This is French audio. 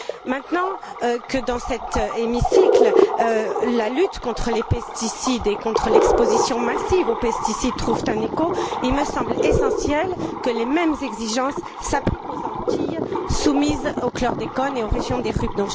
Maintenant que dans cet hémicycle, la lutte contre les pesticides et contre l'exposition massive aux pesticides trouve un écho, il me semble essentiel que les mêmes exigences s'appliquent aux Antilles soumises au chlordécone et aux régions ultrapériphériques.